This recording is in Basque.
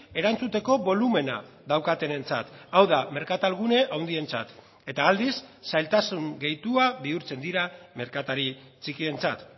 erantzuteko bolumena daukatenentzat hau da merkatal gune handientzat eta aldiz zailtasun gehitua bihurtzen dira merkatari txikientzat